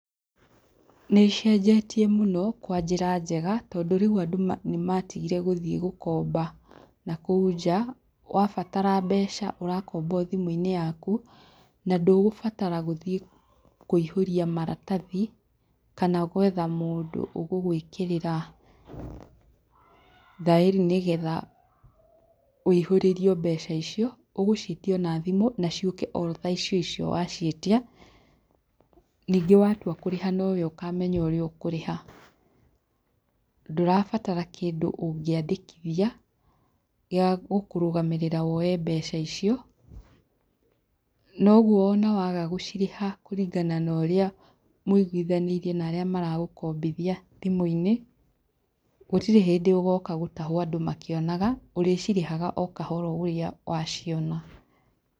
Nĩcenjetie mũno kwa njĩra njega tondũ rĩu andũ ma nĩ matigire gũthiĩ gũkomba na kũu njaa, wabatara mbeca ũrakomba o thĩmũinĩ yaku na ndũgũbatara gũthiĩ kũihũria maratathi kana gwetha mũndũ ũgũgwĩkĩrĩra thaĩri nĩgetha, wĩhũrĩrio mbeca icio, ũgũcĩatia ona thimũ na ciũke o thaa icio icio waciĩtia, ningĩ watua kũrĩha nowe ũkamenya ũria ũkũrĩha, ndũrabatara kĩndũ ũngĩandĩkithia, gia gũkũrũgamĩrĩra woe mbeca icio, noguo ona waga gũcirĩha kũringana noria mwĩiguithanĩirie narĩa maragũkombithia thimũinĩ, gũtirĩ hĩndĩ ũgoka gũtahuo andũ makĩonaga, ũrĩcirĩhaga okahora ũria wa ciona.